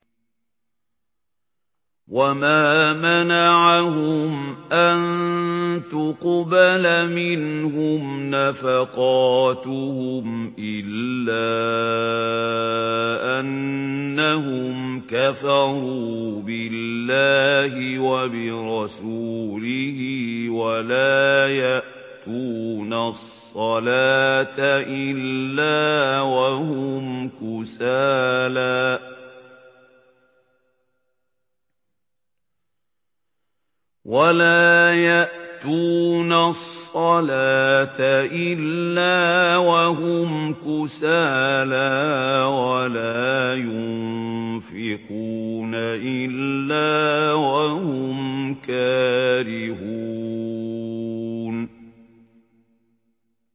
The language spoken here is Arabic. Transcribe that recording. وَمَا مَنَعَهُمْ أَن تُقْبَلَ مِنْهُمْ نَفَقَاتُهُمْ إِلَّا أَنَّهُمْ كَفَرُوا بِاللَّهِ وَبِرَسُولِهِ وَلَا يَأْتُونَ الصَّلَاةَ إِلَّا وَهُمْ كُسَالَىٰ وَلَا يُنفِقُونَ إِلَّا وَهُمْ كَارِهُونَ